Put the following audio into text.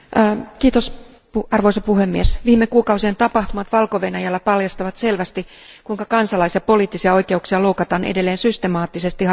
Arvoisa puhemies, viime kuukausien tapahtumat Valko Venäjällä paljastavat selvästi, kuinka kansalais ja poliittisia oikeuksia loukataan edelleen systemaattisesti hallituksen toimesta.